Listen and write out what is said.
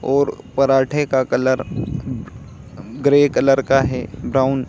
और पराठे का कलर ग्रे कलर का है ब्राउन --